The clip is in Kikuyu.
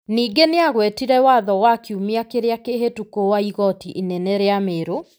Ningĩ nĩ agwetire watho wa kiumia kĩrĩa kĩhĩtũku wa igoti inene rĩa Merũ,